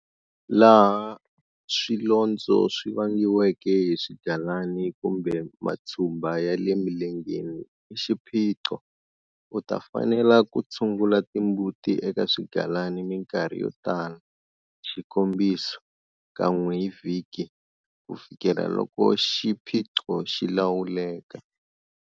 Laha swilondzo swi vangiweke hi swigalana kumbe matshumba ya le milengeni i xiphiqo, u ta fanela ku tshungula timbuti eka swigalana minkarhi yo tala, xikombiso, kan'we hi vhiki, ku fikela loko xiphiqo xi lawuleka.